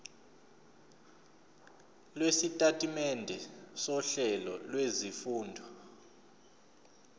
lwesitatimende sohlelo lwezifundo